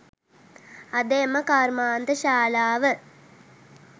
අද එම කර්මාන්තශාලාව